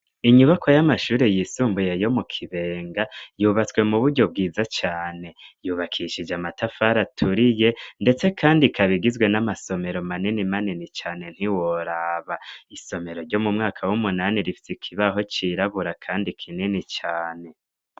Inyubako y'amashuri yisumbuye yo mu kibenga yubatswe mu buryo bwiza cane yubakishije amatafari aturiye, ndetse, kandi kabigizwe n'amasomero maneni manini cane ntiworaba isomero ryo mu mwaka w'umunani rifsi kibaho cirabura, kandi kinini cane.